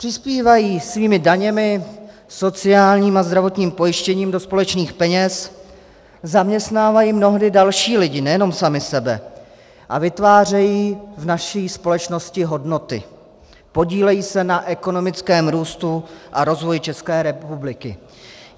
Přispívají svými daněmi, sociálním a zdravotním pojištěním do společných peněz, zaměstnávají mnohdy další lidi, nejenom sami sebe, a vytvářejí v naší společnosti hodnoty, podílejí se na ekonomickém růstu a rozvoji České republiky.